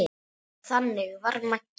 Þannig var Maggi.